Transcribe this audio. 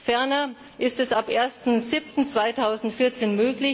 Ferner ist es ab 1.7.2014